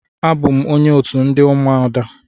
Abụ m onye otu ndị ụmụada.